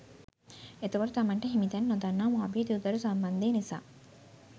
එතකොට තමන්ට හිමිතැන නොදන්නා මාපිය දූ දරු සම්බන්ධය නිසා